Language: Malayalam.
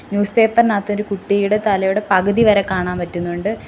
ന്യൂസ് പേപ്പർനകത്തൊരു ഒരു കുട്ടിയുടെ തലയുടെ പകുതി വരെ കാണാൻ പറ്റുന്നുണ്ട്.